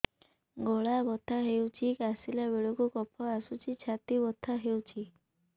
ଗଳା ବଥା ହେଊଛି କାଶିଲା ବେଳକୁ କଫ ଆସୁଛି ଛାତି ବଥା ହେଉଛି